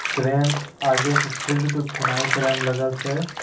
Crane आगे के field के खुनाई करे में लगल छै।